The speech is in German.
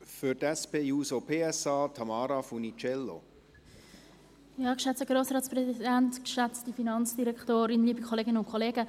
Für die SP-JUSO-PSA-Fraktion spricht Tamara Funiciello.